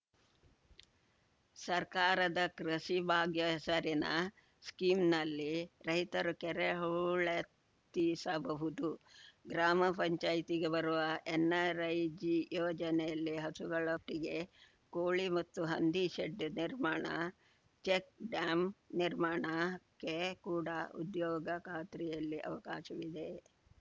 ಸರ್ಕಾರದ ಕೃಷಿ ಭಾಗ್ಯ ಹೆಸರಿನ ಸ್ಕೀಮ್‌ನಲ್ಲಿ ರೈತರು ಕೆರೆ ಹೂಳೆತ್ತಿಸಬಹುದು ಗ್ರಾಮ ಪಂಚಾಯ್ತಿಗೆ ಬರುವ ಎನ್‌ಆರ್‌ಐಜಿ ಯೋಜನೆಯಲ್ಲಿ ಹಸುಗಳ ಟ್ಟಿಗೆ ಕೋಳಿ ಮತ್ತು ಹಂದಿ ಶೆಡ್‌ ನಿರ್ಮಾಣ ಚೆಕ್‌ ಡ್ಯಾಂ ನಿರ್ಮಾಣಕ್ಕೆ ಕೂಡ ಉದ್ಯೋಗ ಖಾತ್ರಿಯಲ್ಲಿ ಅವಕಾಶವಿದೆ